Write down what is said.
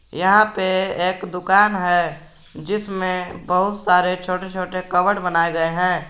यहां पर एक दुकान है जिसमें बहुत सारे छोटे छोटे कॉवर्ड बनाए गए हैं।